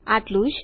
આટલું જ